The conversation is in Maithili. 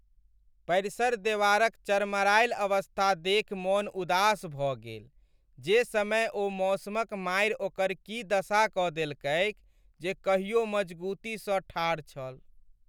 परिसर देवारक चरमरायल अवस्था देखि मोन उदास भऽ गेल जे समय ओ मौसमक मारि ओकर की दशा कऽ देलकैक जे कहियो मजगुतीसँ ठाढ़ छल।